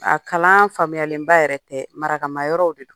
A kalaan faamuyalenba yɛrɛ tɛ. Marakama yɔrɔw de don.